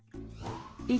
í